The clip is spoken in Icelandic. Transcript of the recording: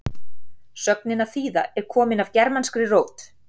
sögnin að þýða er komin af germanskri rót